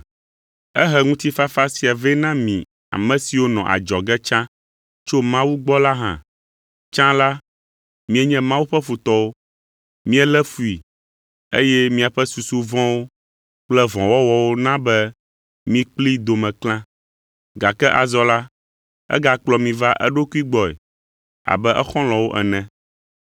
Ehe ŋutifafa sia vɛ na mi, ame siwo nɔ adzɔge tsã tso Mawu gbɔ la hã. Tsã la, mienye Mawu ƒe futɔwo, mielé fui, eye miaƒe susu vɔ̃wo kple vɔ̃wɔwɔwo na be mi kplii dome klã, gake azɔ la, egakplɔ mi va eɖokui gbɔe abe exɔlɔ̃wo ene.